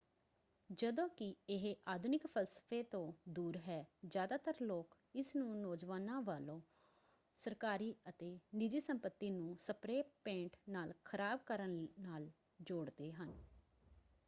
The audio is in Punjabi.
ਜਦੋਂ ਕਿ ਇਹ ਆਧੁਨਿਕ ਫ਼ਲਸਫ਼ੇ ਤੋਂ ਦੂਰ ਹੈ ਜ਼ਿਆਦਾਤਰ ਲੋਕ ਇਸਨੂੰ ਨੌਜਵਾਨਾਂ ਵੱਲੋਂ ਸਰਕਾਰੀ ਅਤੇ ਨਿੱਜੀ ਸੰਪਤੀ ਨੂੰ ਸਪ੍ਰੇ ਪੇਂਟ ਨਾਲ ਖ਼ਰਾਬ ਕਰਨ ਨਾਲ ਜੋੜਦੇ ਹਨ।